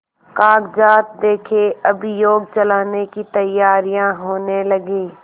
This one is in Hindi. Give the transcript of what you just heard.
कागजात देखें अभियोग चलाने की तैयारियॉँ होने लगीं